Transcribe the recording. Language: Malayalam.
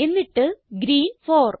എന്നിട്ട് ഗ്രീൻ 4